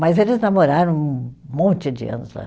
Mas eles namoraram um monte de anos lá.